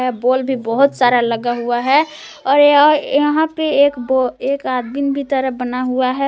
Bulb भी बहोत सारा लगा हुआ है और यह यहां पे एक ब एक आदमीन भी तरह बना हुआ है।